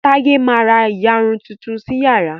Taye má rà iyarun Titun sí iyàrá